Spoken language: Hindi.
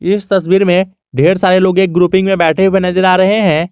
इस तस्वीर में ढेर सारे लोग एक ग्रुपिंग में बैठे हुए नजर आ रहे हैं।